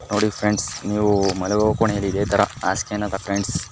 ನೋಡಿ ಫ್ರೆಂಡ್ಸ್ ನೀವು ಮಲಗುವ ಕೋಣೆ ಅಲ್ಲಿ ಇದೆ. ತರ ಹಾಸಿಗೆನ--